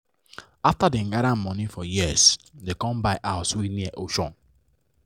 after dem gather money for years dem com buy house wey near ocean